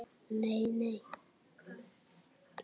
Nei nei.